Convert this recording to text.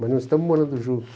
Mas não estamos morando juntos.